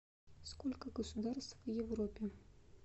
сколько государств в европе